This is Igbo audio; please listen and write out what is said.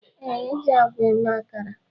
Yes, e ji àgwà eme akara